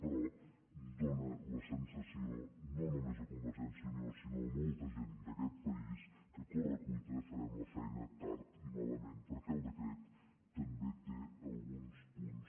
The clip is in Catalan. però dóna la sensació no només a convergència i unió sinó a molta gent d’aquest país que a corre cuita farem la feina tard i malament perquè el decret també té alguns punts